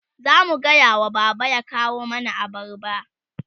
zamu gayawa baba ya kawo mana abarba